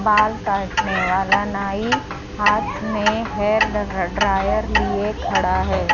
बाल काटने वाला नाई हाथ मे हेयर ड्र ड्रायर लिए खड़ा हैं।